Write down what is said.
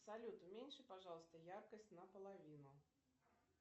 салют уменьши пожалуйста яркость на половину